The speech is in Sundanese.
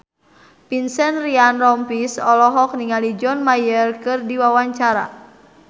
Vincent Ryan Rompies olohok ningali John Mayer keur diwawancara